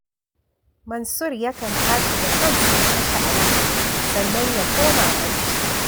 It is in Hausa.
Mansur yakan tashi da kansa ya kashe alam, sannan ya koma barci